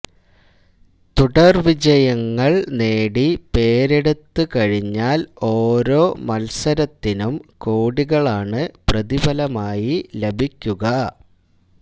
തുടര്വിജയങ്ങള് നേടി പേരെടുത്തുകഴിഞ്ഞാല് ഓരോ മത്സരത്തിനും കോടികളാണ് പ്രതിഫലമായി ലഭിക്കുക